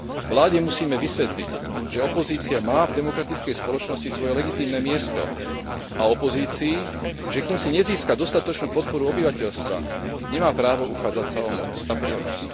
Vláde musíme vysvetliť, že opozícia má v demokratickej spoločnosti svoje legitímne miesto, a opozícii, že kým si nezíska dostatočnú podporu obyvateľstva, nemá právo uchádzať sa o moc.